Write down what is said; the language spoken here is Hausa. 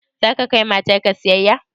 Za ka kai matar ka siyayya?